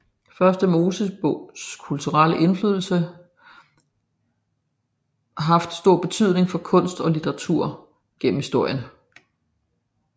Første Mosebogs kulturelle indflydelse haft stor betydning for kunst og litteratur gennem historien